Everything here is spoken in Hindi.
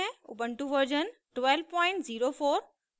ubuntu version 1204